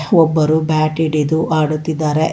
ಒಬ್ಬರು ಬ್ಯಾಟ್ ಹಿಡಿದು ಆಡುತ್ತಿದ್ದಾರೆ ಆ ಇ--